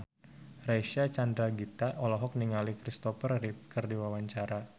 Reysa Chandragitta olohok ningali Christopher Reeve keur diwawancara